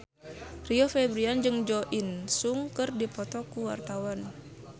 Rio Febrian jeung Jo In Sung keur dipoto ku wartawan